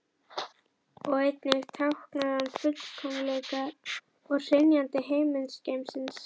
Og einnig táknar hann fullkomleika og hrynjandi himingeimsins.